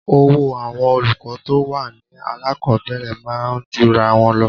Owó àwọn olùkọ́ tó wà ní alákọ̀ọ́bẹ̀rẹ̀ máa ń jura wọn lọ.